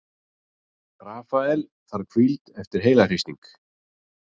Rafael þarf hvíld eftir heilahristing